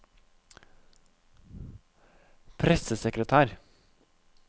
pressesekretær